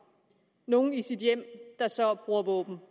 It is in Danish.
nogle i sit hjem der så bruger våben